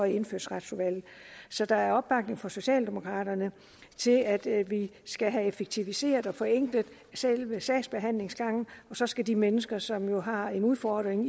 i indfødsretsudvalget så der er opbakning fra socialdemokraterne til at vi skal have effektiviseret og forenklet selve sagsbehandlingsgangen og så skal de mennesker som jo har en udfordring